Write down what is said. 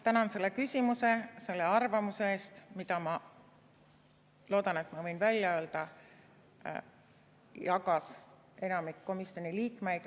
Tänan selle küsimuse, selle arvamuse eest, mida, ma loodan, et ma võin välja öelda, jagas enamik komisjoni liikmeid.